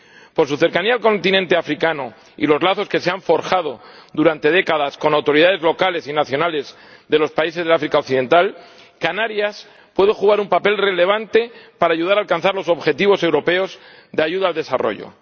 Por su cercanía al continente africano y por los lazos que se han forjado durante décadas con autoridades locales y nacionales de los países del África Occidental, Canarias puede desempeñar un papel relevante para ayudar a alcanzar los objetivos europeos de ayuda al desarrollo.